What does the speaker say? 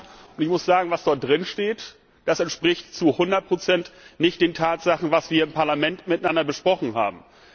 Und ich muss sagen, was dort drin steht, das entspricht zu 100 nicht den Tatsachen, was wir im Parlament miteinander besprochen haben.